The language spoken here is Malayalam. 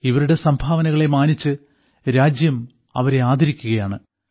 ഇവരുടെ സംഭാവനകളെ മാനിച്ച് രാജ്യം അവരെ ആദരിക്കുകയാണ്